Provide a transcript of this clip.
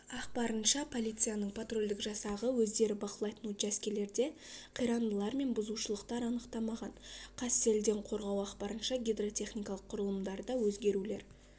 ақпарынша полицияның патрульдік жасағы өздері бақылайтын учаскелерде қирандылар мен бұзушылықтар анықтамаған қазселденқорғау ақпарынша гидротехникалық құрылымдарда өзгерулер